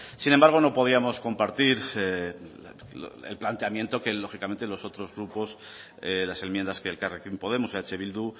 sin embargo no podíamos compartir el planteamiento que lógicamente los otros grupos las enmiendas que elkarrekin podemos eh bildu